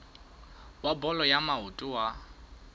wa bolo ya maoto wa